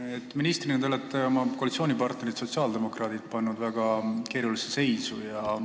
Te olete ministrina pannud oma koalitsioonipartnerid sotsiaaldemokraadid väga keerulisse seisu.